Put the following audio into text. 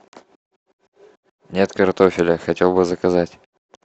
нет картофеля хотел бы заказать